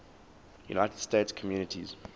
united states communities